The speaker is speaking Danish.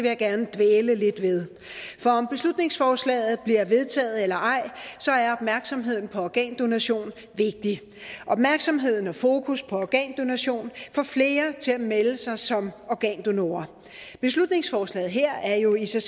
jeg gerne dvæle lidt ved for om beslutningsforslaget bliver vedtaget eller ej er opmærksomheden på organdonation vigtig opmærksomheden og fokus på organdonation får flere til at melde sig som organdonorer beslutningsforslaget her er jo i sig